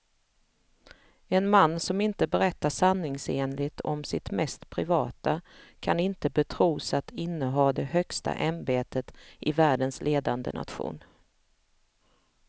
En man som inte berättar sanningsenligt om sitt mest privata kan inte betros att inneha det högsta ämbetet i världens ledande nation.